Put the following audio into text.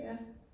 Ja